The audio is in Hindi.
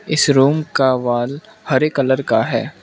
इस रूम का वॉल हरे कलर का है।